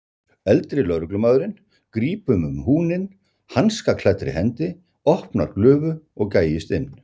Eldri lögreglumaðurinn grípur um húninn hanskaklæddri hendi, opnar glufu og gægist inn.